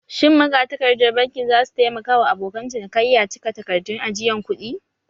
Shin magatakardar bankin za su taimaka wa abokan cinikayya cika takardun ajiyan kuɗi?